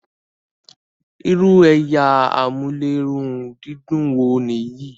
ìrù ẹyà Amulerundidun wò níyì?